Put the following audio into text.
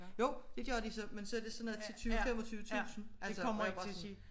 Jo de gør de så men så er det sådan noget til 20 25 tusind det kommer ikke til at ske